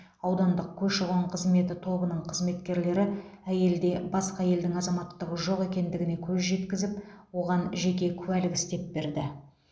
аудандық көші қон қызметі тобының қызметкерлері әйелде басқа елдің азаматтығы жоқ екендігіне көз жеткізіп оған жеке куәлік істеп берді